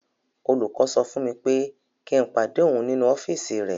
Olùkọ́ sọ fún mi pé kí n pàdé òun nínú ọ́fíìsì rẹ̀.